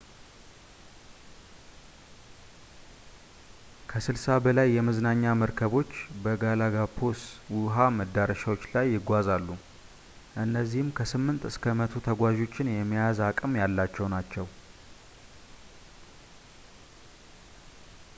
ከ60 በላይ የመዝናኛ መርከቦች በgalapagos ውሃ መዳረሻዎች ላይ ይጓዛሉ - እነዚህም ከ8 እስከ 100 ተጓዦችን የመያዝ አቅም ያላቸው ናቸው